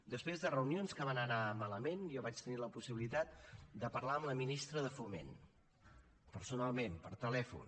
després de reunions que van anar malament jo vaig tenir la possibilitat de parlar amb la ministra de foment personalment per telèfon